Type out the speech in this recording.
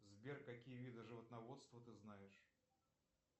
сбер какие виды животноводства ты знаешь